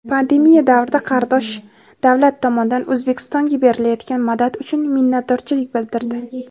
Pandemiya davrida qardosh davlat tomonidan O‘zbekistonga berilayotgan madad uchun minnatdorchilik bildirdi.